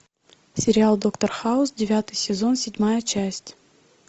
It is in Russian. сериал доктор хаус девятый сезон седьмая часть